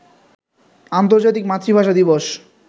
আন্তর্জাতিক মাতৃভাষা দিবস